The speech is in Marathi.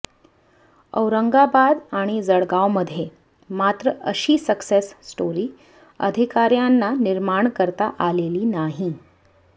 औरंगाबाद आणि जळगावमध्ये मात्र अशी सक्सेस स्टोरी अधिकाऱ्यांना निर्माण करता आलेली नाही